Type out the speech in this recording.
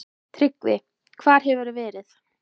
TRYGGVI: Hvar hefurðu verið?